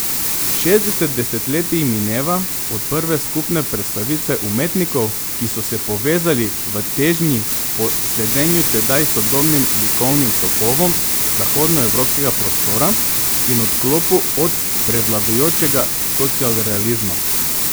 Šestdeset desetletij mineva od prve skupne predstavitve umetnikov, ki so se povezali v težnji po sledenju tedaj sodobnim likovnim tokovom zahodnoevropskega prostora in odklopu od prevladujočega socialrealizma.